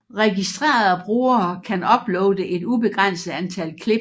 Registrerede brugere kan uploade et ubegrænset antal klip